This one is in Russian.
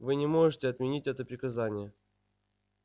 вы не можете отменить это приказание